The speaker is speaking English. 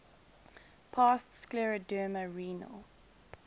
past scleroderma renal